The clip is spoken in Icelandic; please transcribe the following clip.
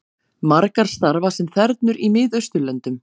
Margar starfa sem þernur í Miðausturlöndum